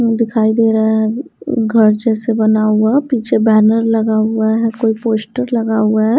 दिखाई दे रहा है घर जैसे बना हुआ पीछे बैनर लगा हुआ है कोई पोस्टर लगा हुआ है।